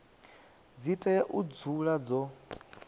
dzi tea u dzula dzo